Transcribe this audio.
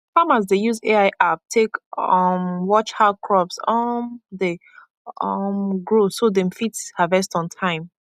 farmers dey use ai app take um watch how crops um dey um grow so dem fit harvest on time